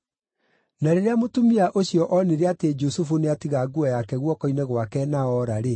Na rĩrĩa mũtumia ũcio onire atĩ Jusufu nĩatiga nguo yake guoko-inĩ gwake na oora-rĩ,